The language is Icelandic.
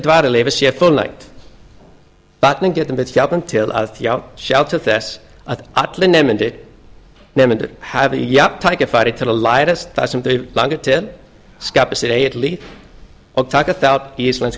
dvalarleyfis sé fullnægt þannig getum við hjálpað til að sjá til þess að allir nemendur hafi jafnt tækifæri til að læra það sem þau langar til skapa sitt eigið líf og taka þátt í íslensku